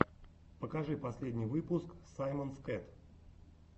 покажи последний выпуск саймонс кэт